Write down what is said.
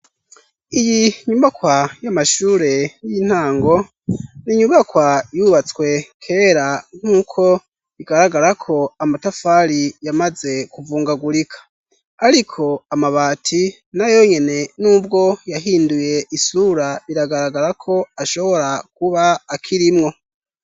Iyi nyubakwa y'amashure y'intango n'inyubakwa yubatswe kera nk'uko bigaragara ko amatafari yamaze kuvungagurika ariko amabati na yonyene n'ubwo yahinduye isura biragaragara ko ashobora kuba akirimwo.